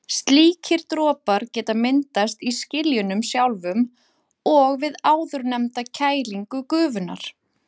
Slíkir dropar geta myndast í skiljunum sjálfum og við áðurnefnda kælingu gufunnar.